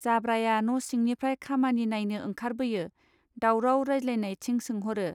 जाब्राया न' सिंनिफ्राय खामानि नाइनो ओंखार बोयो' दावराव राइज्लायनाइथिं सोंहरो.